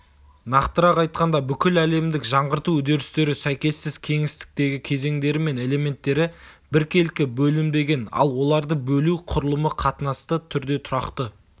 нақтырақ айтқанда бүкіл әлемдік жаңғырту үдерістері сәйкессіз кеңістіктегі кезеңдері мен элементтері біркелкі бөлінбеген ал оларды бөлу құрылымы қатынасты түрде тұрақты